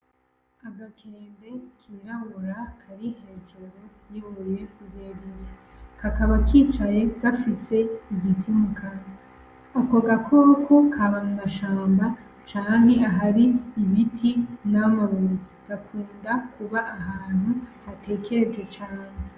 Agakende kirabura, Kari hejuru y'urubuye rurerure, kakaba kicaye gafise Igiti mukanwa ako gakoko gakunda kuba mubiri canke ahantu hatekereje cane.